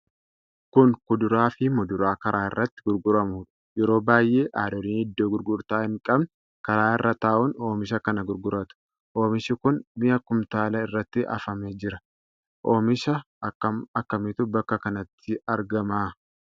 Kun kuduraa fi muduraa karaa irratti gurguramuudha. Yeroo baay'ee haadholiin iddoo gurgurtaa hin qabne kara irra taa'uun oomisha kana gurguratu. Oomishi kun mi'a kumtaalaa irratti afamee jira. Omiisha akkam akkamiitu bakka kanatti argama?